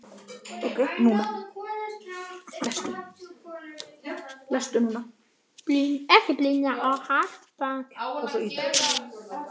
Brynja og Harpa.